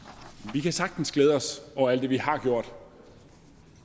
vi kan sagtens glæde os over alt det vi har gjort